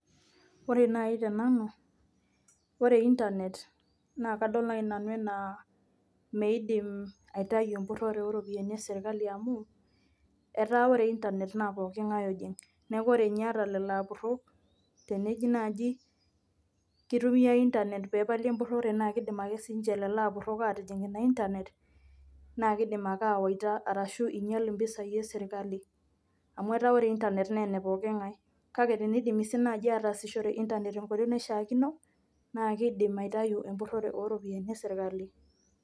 Ore nai tenanu, ore internet na kadol nai nanu enaa meidim aitayu empurrore oropiyiani esirkali amu, etaa ore internet na pooking'ae ojing. Neeku ore nye ata lelo apurrok, teniji naji kitumiai internet pepali empurrore na kidim ake sininche lelo apurrok atijing ina internet, naa kidim ake awaita arashu inyal impisai esirkali. Amu etaa ore internet naa ene pooking'ae. Kake tenidimi si naji ataasishore internet tenkoitoi naishaakino, naa kidim aitayu empurrore oropiyiani eserkali.